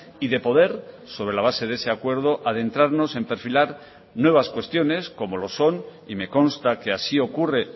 y de poder sobre la base de ese acuerdo adentrarnos en perfilar nuevas cuestiones como lo son y me consta que así ocurre